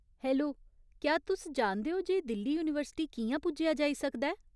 Hello, क्या तुस जानदे ओ जे दिल्ली यूनिवर्सिटी कि'यां पुज्जेआ जाई सकदा ऐ ?